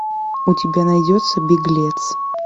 у тебя найдется беглец